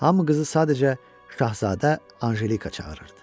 Hamı qızı sadəcə Şahzadə Anjelika çağırırdı.